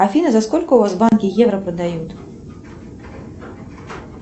афина за сколько у вас в банке евро продают